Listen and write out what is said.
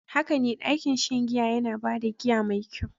Haka ne, ɗakin shan giya yana ba da giya mai kyau.